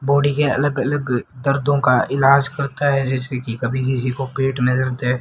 Body के अलग अलग दर्दों का इलाज करता है जैसे की कभी किसी को पेट में दर्द है।